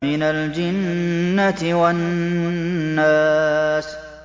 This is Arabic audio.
مِنَ الْجِنَّةِ وَالنَّاسِ